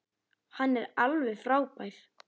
Hann er alveg frábær.